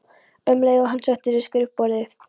um leið og hann settist við skrifborðið.